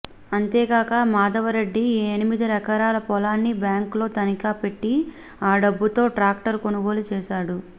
అంతేకాక మాధవరెడ్డి ఈ ఎనిమిది ఎకరాల పొలాన్ని బ్యాంకులో తనఖా పెట్టి ఆ డబ్బుతో ట్రాక్టరు కొనుగోలు చేశాడు